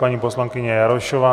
Paní poslankyně Jarošová.